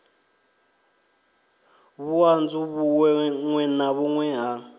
vhuṱanzu vhuṅwe na vhuṅwe ha